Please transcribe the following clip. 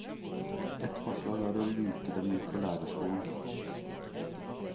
Et forslag er å luke dem ut på lærerskolen.